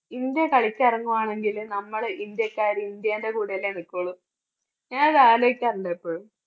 India കളിക്കിറങ്ങുവാണെങ്കില് നമ്മള് india ക്കാര് കൂടെയല്ലേ ഇന്ത്യന്റെ കൂടെയല്ലേ നിക്കോളൂ? ഞാനത് ആലോചിക്കാറുണ്ട് എപ്പോഴും.